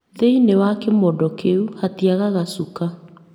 Thĩiniĩ wa kĩmodo kĩu hatiagaga shuka